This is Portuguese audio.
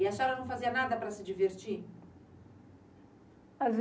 E a senhora não fazia nada para se divertir?